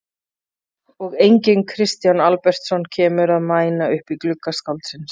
Og enginn Kristján Albertsson kemur að mæna upp í glugga skáldsins.